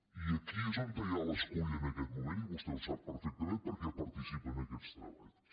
i aquí és on hi ha l’escull en aquest moment i vostè ho sap perfectament perquè participa en aquests treballs